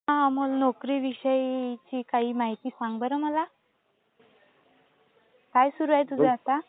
हा अमोल. नोकरीविषयीची काही माहिती सांग बरं मला. काय सुरू आहे तुझं आता?